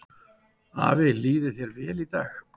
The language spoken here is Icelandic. Afi, líði þér vel.